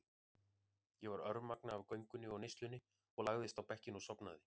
Ég var örmagna af göngunni og neyslunni og lagðist á bekkinn og sofnaði.